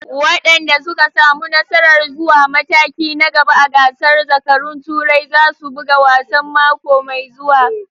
Wadanda suka samu nasarar zuwa mataki na gaba a gasar zakarun Turai za su buga wasan mako mai zuwa.